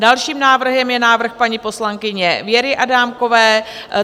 Dalším návrhem je návrh paní poslankyně Věry Adámkové.